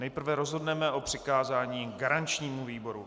Nejprve rozhodneme o přikázání garančnímu výboru.